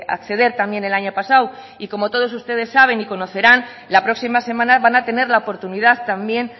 acceder también el año pasado y como todos ustedes saben y conocerán la próxima semana van a tener la oportunidad también